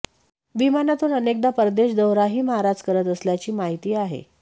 विमानातून अनेकदा परदेश दौराही महाराज करत असल्याची माहिती आहे